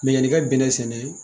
Mɛ yanni i ka bɛnɛ sɛnɛ